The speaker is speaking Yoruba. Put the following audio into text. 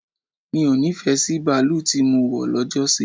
Mi o nífẹ̀ẹ́ sí baalú tí mọ wọ̀ lọ́jọ́ sí.